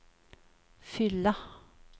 fylla